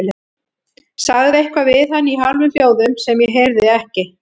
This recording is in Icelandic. Sagði eitthvað við hann í hálfum hljóðum sem ég heyrði ekki.